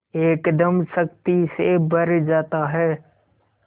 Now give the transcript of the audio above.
एकदम शक्ति से भर जाता है